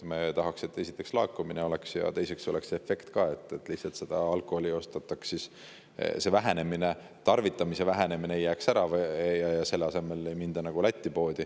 Me tahaks, et oleks laekumine, ja et oleks see efekt ka, et tarvitamise vähenemine ei jääks ära ja ei mindaks Lätti poodi.